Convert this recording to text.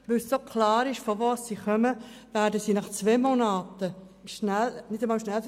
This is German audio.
Und weil so klar ist, woher sie kommen, haben sie zwei Monate später bereits den Flüchtlingsstatus.